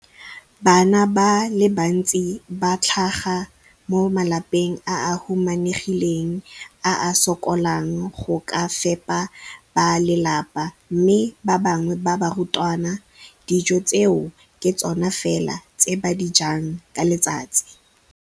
Bana ba le bantsi ba tlhaga mo malapeng a a humanegileng a a sokolang go ka fepa ba lelapa mme ba bangwe ba barutwana, dijo tseo ke tsona fela tse ba di jang ka letsatsi.